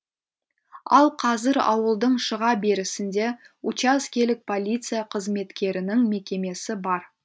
ал қазір ауылдың шыға берісінде учаскелік полиция қызметкерінің мекемесі бар